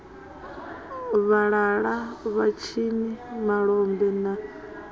fhalala vhatshini malombe na mune